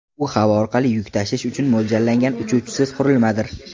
U havo orqali yuk tashish uchun mo‘ljallangan uchuvchisiz qurilmadir.